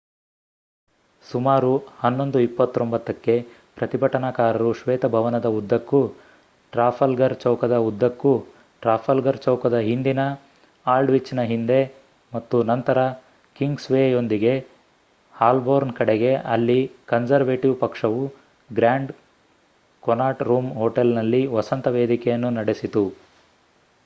ಸುಮಾರು 11:29 ಕ್ಕೆ ಪ್ರತಿಭಟನಾಕಾರರು ಶ್ವೇತಭವನದ ಉದ್ದಕ್ಕೂ ಟ್ರಾಫಲ್ಗರ್ ಚೌಕದ ಉದ್ದಕ್ಕೂ ಟ್ರಾಫಲ್ಗರ್ ಚೌಕದ ಹಿಂದಿನ ಆಲ್ಡ್‌ವಿಚ್‌ನ ಹಿಂದೆ ಮತ್ತು ನಂತರ ಕಿಂಗ್ಸ್‌ವೇಯೊಂದಿಗೆ ಹಾಲ್ಬೋರ್ನ್ ಕಡೆಗೆ ಅಲ್ಲಿ ಕನ್ಸರ್ವೇಟಿವ್ ಪಕ್ಷವು ಗ್ರ್ಯಾಂಡ್ ಕೊನಾಟ್ ರೂಮ್ ಹೋಟೆಲ್ನಲ್ಲಿ ವಸಂತ ವೇದಿಕೆಯನ್ನು ನಡೆಸಿತು